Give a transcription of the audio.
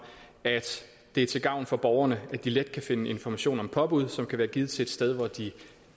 at det er til gavn for borgerne at de let kan finde information om påbud som kan være givet til et sted hvor de